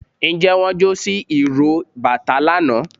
njẹ won jo si iró batà lana?